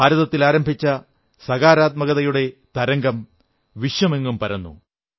ഭാരതത്തിൽ ആരംഭിച്ച സകാരാത്മകതയുടെ തരംഗം വിശ്വമെങ്ങും പരന്നു